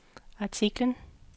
artiklen